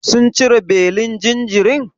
Sun cire belin jinjirin?